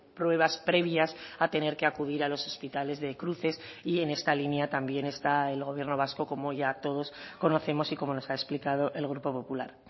pruebas previas a tener que acudir a los hospitales de cruces y en esta línea también está el gobierno vasco como ya todos conocemos y como nos ha explicado el grupo popular